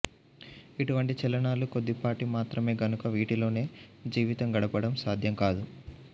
ఇటువంటి చలనాలు కొద్దిపాటి మాత్రమే గనుక వీటితోనే జీవితం గడపడం సాధ్యం కాదు